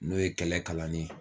N'o ye kɛlɛ kalanni ye